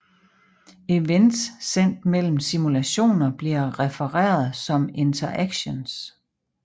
Events sendt mellem simulationer bliver refereret som interactions